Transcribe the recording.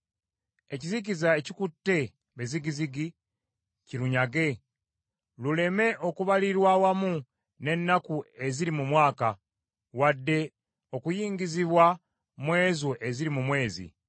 Ekizikiza ekikutte be zigizigi kirunyage, luleme okubalirwa awamu n’ennaku eziri mu mwaka, wadde okuyingizibwa mu ezo eziri mu mwezi.